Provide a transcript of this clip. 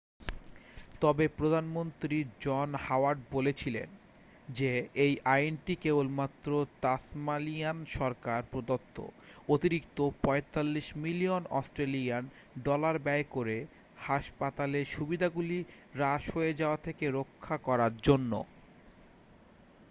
তবে প্রধানমন্ত্রী John Howard বলেছিলেন যে এই আইনটি কেবলমাত্র তাসমানিয়ান সরকার প্রদত্ত অতিরিক্ত 45 মিলিয়ন অস্ট্রেলিয়ান ডলার ব্যয় করে হাসপাতালের সুবিধাগুলি হ্রাস হয়ে যাওয়া থেকে রক্ষা করার জন্য